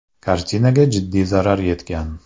Kartinaga jiddiy zarar yetgan.